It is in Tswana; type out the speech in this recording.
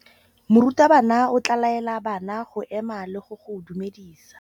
Morutabana o tla laela bana go ema le go go dumedisa.